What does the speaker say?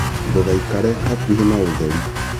ndũgaikare hakuhĩ na ũtheri